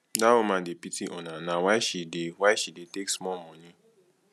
dat woman dey pity una na why she dey why she dey take small money